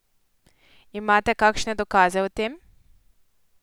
Imate kakšne dokaze o tem?